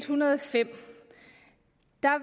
hundrede og fem